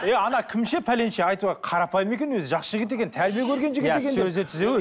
иә ана кім ше пәленше қарапайым екен өзі жақсы жігіт екен тәрбие көрген жігіт екен иә сөзі түзу